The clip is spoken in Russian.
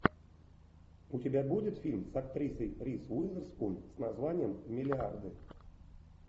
у тебя будет фильм с актрисой риз уизерспун с названием миллиарды